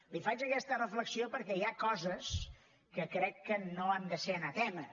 li faig aquesta reflexió perquè hi ha coses que crec que no han de ser anatema